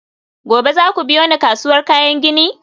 gobe za ku biyo ni kasuwar kayan gini?